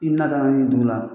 I natara ni dugu la.